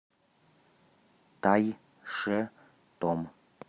тайшетом